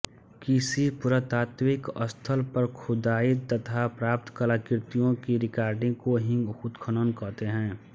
किसी पुरातात्विक स्थल पर खुदाई तथा प्राप्त कलाकृतियों की रिकॉर्डिंग को ही उत्खनन कहते हैं